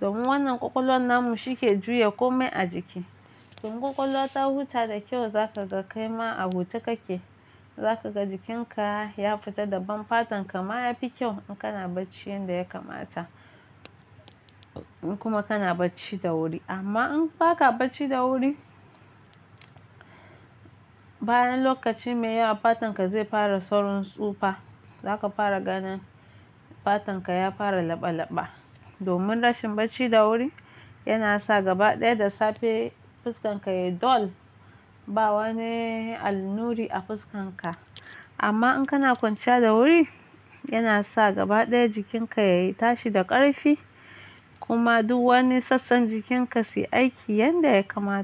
Domin wannan ƙwaƙwalwan namu shi ke juya komai a jiki. Tun ƙwaƙwalwa ta huta da kyau za ka ga kai ma a huta kake. Za ka ga jikinka ya fita daban fatan ka ma yafi kyau in kana bacci yanda ya kamata. In kuma kana bacci da wuri. Amma in ba ka bacci da wuri, bayan lokaci mai yawa fatan ka zai fara saurin tsufa. Za ka fara ganin fatan ka ya fara laba laba. Domin rashin bacci da wuri yana sa gaba ɗaya da safe fuskan ka ya dull, ba wani alnuri a fuskan ka. Amma in kana kwanciya da wuri yana sa gaba ɗaya jikin ka ya tashi da ƙarfi kuma duk wani sassan jikin ka su yi aiki yanda ya kamata.